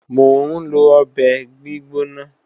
Mò ń lọ ọbẹ̀ gbígbóná